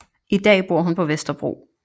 I dag bor hun på Vesterbro